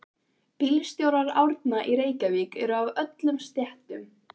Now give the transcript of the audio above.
Bílstjórar Árna í Reykjavík eru af öllum stéttum.